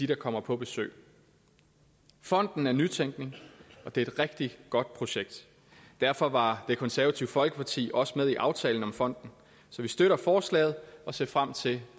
der kommer på besøg fonden er nytænkning og det er et rigtig godt projekt derfor var det konservative folkeparti også med i aftalen om fonden så vi støtter forslaget og ser frem til